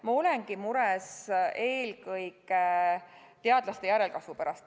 Ma olengi mures eelkõige teadlaste järelkasvu pärast.